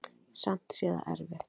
Samt sé það erfitt.